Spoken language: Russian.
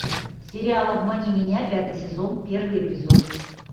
сериал обмани меня пятый сезон первый эпизод